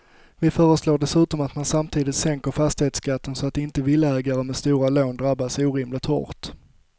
Vi föreslår dessutom att man samtidigt sänker fastighetsskatten så att inte villaägare med stora lån drabbas orimligt hårt.